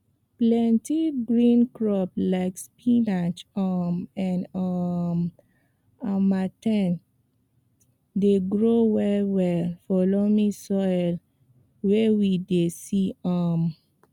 plenti green crops like spinach um and um dey grow well well for loamy soil wey we dey use um